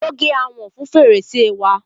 Ó gé àwòn fun fèrèsè wa.